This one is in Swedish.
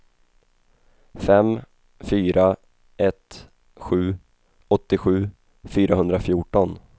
fem fyra ett sju åttiosju fyrahundrafjorton